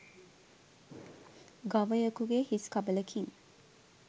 ගවයකුගේ හිස් කබලකින්